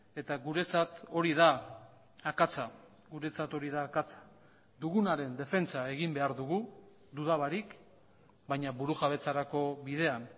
eta guretzat hori da akatsa guretzat hori da akatsa dugunaren defentsa egin behar dugu duda barik baina burujabetzarako bidean